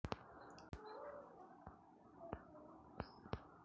परंतु तेथे पोहोचण्यासाठी आपल्याला द्राविडी प्राणायाम करावा लागतो.